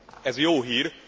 Ez jó hír.